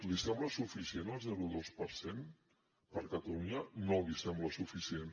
li sembla suficient el zero coma dos per cent per a catalunya no li sembla suficient